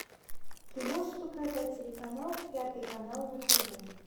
ты можешь показать телеканал пятый канал на тв